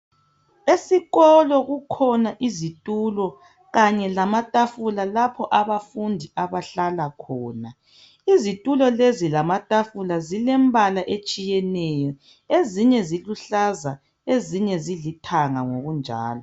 Esikolo kukhona izitulo kanye lamatafula lapho abafundi abahlala khona izitulo lezi lamatafula zilempala etshiyeneyo ezinye ziluhlaza ezinye zilithanga ngokunjalo.